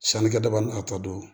Sanikɛda ni a ta don